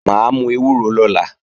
Mà á mú ewúro lọ́la